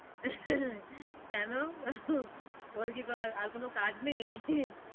কেন ওর কি আর কোনো কাজ নেই